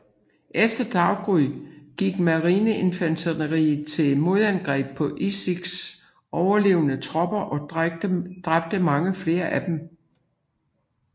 Efter daggry gik marineinfanteriet til modangreb på Ichikis overlevende tropper og dræbte mange flere af dem